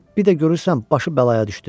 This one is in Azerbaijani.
Amma bir də görürsən başı bəlaya düşdü.